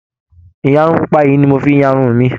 Ìyarun pupa yìí ni mo fi ń ya irun mi